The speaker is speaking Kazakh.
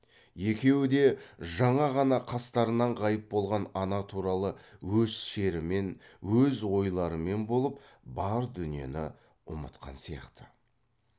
екеуі де жаңа ғана қастарынан ғайып болған ана туралы өз шерімен өз ойларымен болып бар дүниені ұмытқан сияқты